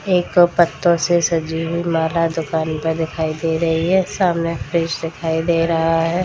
एक पत्तों से सजी हुई माला दुकान पे दिखाई दे रही है सामने फ्रिज दिखाई दे रहा है।